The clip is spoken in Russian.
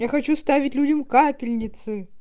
я хочу ставить людям капельницы